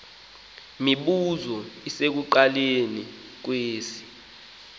mibuzo isekuqalekeni kwesi